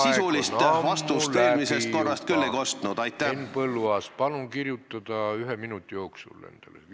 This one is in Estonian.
Henn Põlluaas, palun kirjuta endale üles küsimus, mille saab esitada ühe minuti jooksul!